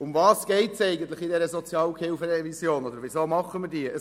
Worum geht es eigentlich in dieser SHG-Revision und weshalb machen wir diese?